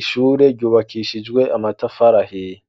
ishure ryubakishijwe amatafarahiya.